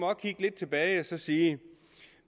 kigge lidt tilbage og så sige